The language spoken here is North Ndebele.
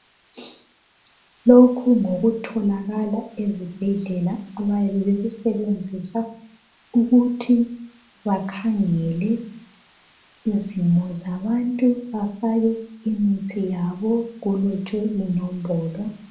Lokhu ngokutholakala ezibhedlela abayabe bekusebenzisa ukuthi bakhangele izimo zabantu bafake imithi yabo kulotshwe inombolo.